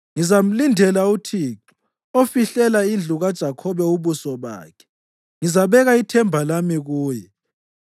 Ngizamlindela uThixo, ofihlela indlu kaJakhobe ubuso bakhe. Ngizabeka ithemba lami kuye.